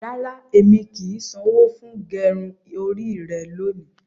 Rárá, ẹmi kí í ṣanwọ fún gẹrún orí rẹ̀ lóni.